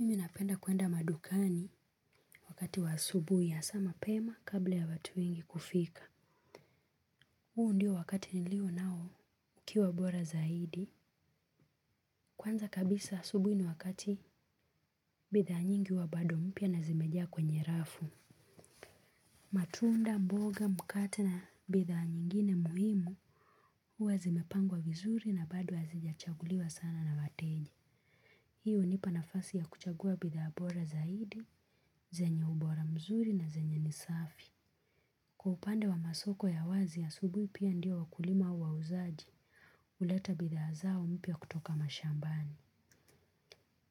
Mimi napenda kwenda madukani wakati wa asubuhi hasa mapema kabla ya watu wengi kufika. Huo ndio wakati nilionao ukiwa bora zaidi. Kwanza kabisa asubuhi ni wakati bidhaa nyingi huwa bado mpya na zimejaa kwenye rafu. Matunda mboga mkate na bidhaa nyingine muhimu huwa zimepangwa vizuri na bado hazijachaguliwa sana na wateja. Hii hunipa nafasi ya kuchagua bidhaa bora zaidi, zenye ubora mzuri na zenye ni safi. Kwa upande wa masoko ya wazi asubuhi pia ndio wakulima wauzaji, huleta bidhaa zao mpya kutoka mashambani.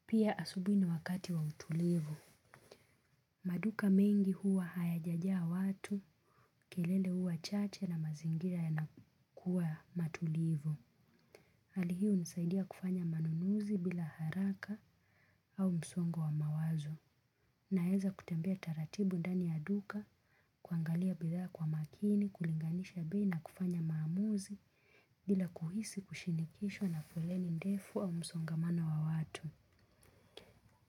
Pia asubuhi ni wakati wa utulivu. Maduka mengi huwa hayajajaa watu, kelele huwa chache na mazingira yanakuwa matulivu. Hali hii hunisaidia kufanya manunuzi bila haraka au msongo wa mawazo. Naweza kutembea taratibu ndani ya duka, kuangalia bidhaa kwa makini, kulinganisha bei na kufanya maamuzi bila kuhisi kushinikishwa na foleni ndefu au msongamano wa watu.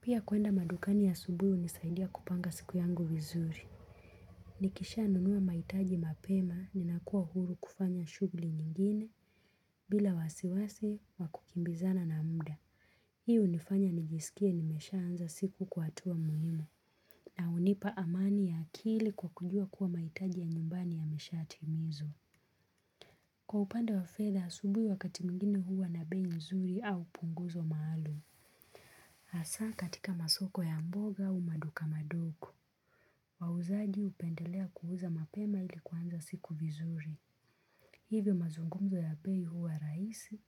Pia kwenda madukani asubuhi hunisaidia kupanga siku yangu vizuri. Nikisha nunua mahitaji mapema ninakuwa huru kufanya shughuli nyingine bila wasiwasi wakukimbizana na muda. Hii hunifanya nijisikie nimeshaanza siku kwa hatua muhimu na hunipa amani ya akili kwa kujua kuwa mahitaji ya nyumbani yameshatimizwa. Kwa upanda wa fedha asubuhi wakati mwingine huwa na bei nzuri au punguzo maalum. Hasa katika masoko ya mboga au maduka madogo. Wauzaji hupendelea kuuza mapema ili kuanza siku vizuri. Hivyo mazungumzo ya bei huwa rahisi,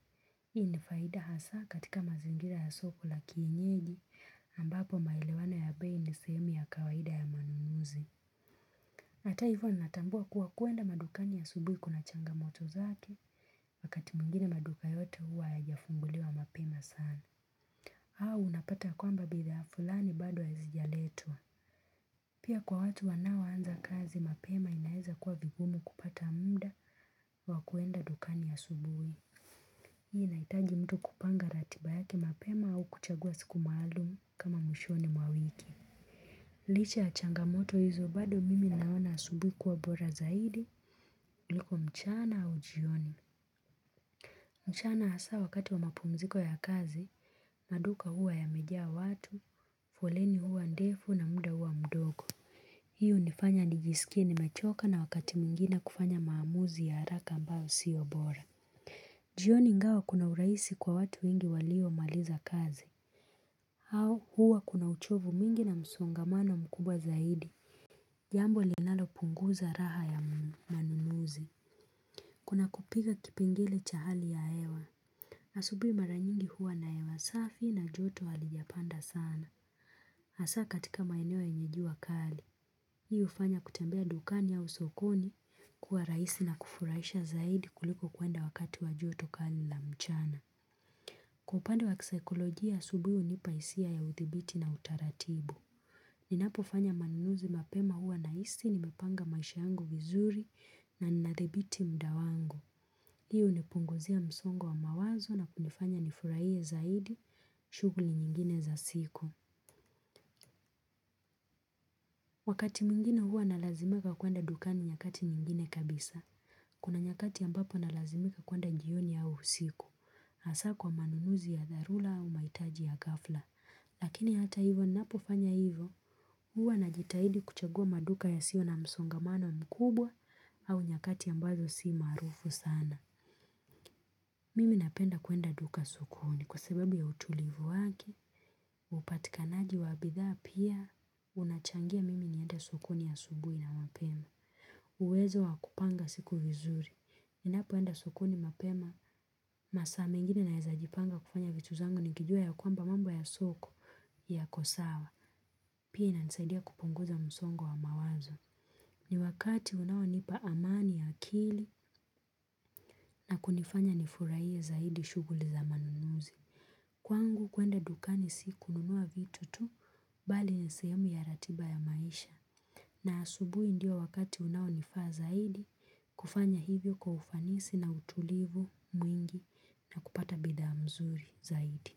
hii ni faida hasa katika mazingira ya soko la kienyeji ambapo maelewano ya bei ni sehemu ya kawaida ya manunuzi. Hata hivyo natambua kuwa kwenda madukani asubuhi kuna changamoto zake wakati mwingine maduka yote huwa yajafunguliwa mapema sana. Unapata kwamba bidhaa fulani bado hazijaletwa. Pia kwa watu wanaoanza kazi, mapema inaweza kuwa vigumu kupata muda wa kwenda dukani asubuhi. Hii inahitaji mtu kupanga ratiba yake mapema au kuchagua siku maalum kama mwishoni mwa wiki. Licha ya changamoto hizo bado mimi naona asubuhi kuwa bora zaidi kuliko mchana au jioni. Mchana hasa wakati wa mapumziko ya kazi, maduka huwa yamejaa watu, foleni huwa ndefu na muda huwa mdogo. Hii hunifanya nijisikie nimechoka na wakati mwingine kufanya maamuzi ya haraka ambayo siyo bora. Jioni ingawa kuna urahisi kwa watu wengi waliomaliza kazi. Au huwa kuna uchovu mwingi na msongamano mkubwa zaidi. Jambo linalopunguza raha ya manunuzi. Kuna kupiga kipengele cha hali ya hewa. Asubuhi mara nyingi huwa na hewa safi na joto halijapanda sana. Hasa katika maeneo yenye jua kali. Hii hufanya kutembea dukani au sokoni kuwa rahisi na kufurahisha zaidi kuliko kwenda wakati wa joto kali la mchana. Kwa upande wa kisaikolojia, asubuhi hunipa hisia ya uthibiti na utaratibu. Ninapofanya manunuzi mapema huwa nahisi nimepanga maisha yangu vizuri na ninathibiti muda wangu. Hii hunipunguzia msongo wa mawazo na kunifanya nifurahie zaidi shughuli nyingine za siku. Wakati mwingine huwa nalazimika kwenda dukani nyakati nyingine kabisa. Kuna nyakati ambapo nalazimika kwenda jioni au usiku. Hasa kwa manunuzi ya dharura au mahitaji ya ghafla. Lakini hata hivyo napofanya hivyo huwa najitahidi kuchagua maduka yasiyo na msongamano mkubwa au nyakati ambazo si marufu sana. Mimi napenda kwenda duka sokoni kwa sababu ya utulivu wake upatikanaji wa bidhaa pia unachangia mimi nienda sokoni asubuhi na mapema. Uwezo wa kupanga siku vizuri. Ninapoenda sokoni mapema masaa mengine naweza jipanga kufanya vitu zangu nikijua ya kwamba mambo ya soko yako sawa. Pia inanisaidia kupunguza msongo wa mawazo. Ni wakati unaonipa amani ya akili na kunifanya nifurahie zaidi shughuli za manunuzi. Kwangu kwenda dukani si kununua vitu tu bali ni sehemu ya ratiba ya maisha. Na asubuhi ndiyo wakati unaonifaa zaidi kufanya hivyo kwa ufanisi na utulivu mwingi na kupata bidhaa mzuri zaidi.